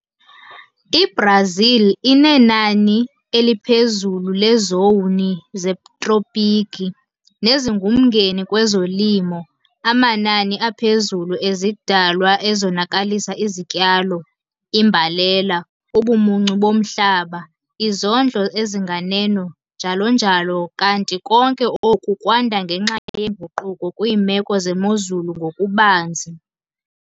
I-Brazil inenani eliphezulu leezowuni zetropiki, nezingumngeni kwezolimo, amanani aphezulu ezidalwa ezonakalisa izityalo, imbalela, ubumuncu bomhlaba, izondlo ezinganeno njalo njalo kanti konke oku kwanda ngenxa yeenguquko kwiimeko zemozulu ngokubanzi.